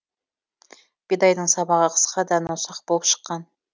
бидайдың сабағы қысқа дәні ұсақ болып шыққан